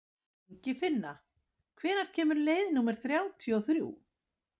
Ingifinna, hvenær kemur leið númer þrjátíu og þrjú?